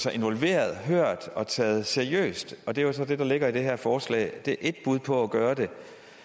sig involveret hørt og taget seriøst det er så det der ligger i det her forslag det er ét bud på at gøre det